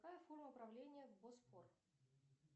какая форма правления в босфор